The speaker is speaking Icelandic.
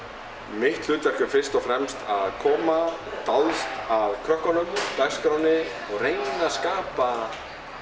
mitt hlutverk er fyrst og fremst að koma dáðst að krökkunum dagskránni og reyna að skapa